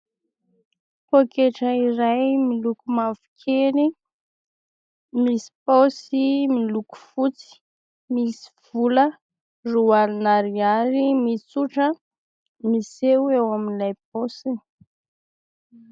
Pôketra iray miloko mavokely misy paosy miloko fotsy, misy vola roa alina ariary mitsotra miseho eo amin'ilay paosiny.